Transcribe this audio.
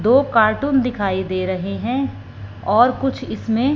दो कार्टून दिखाई दे रहे हैं और कुछ इसमें--